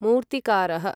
मूर्तिकारः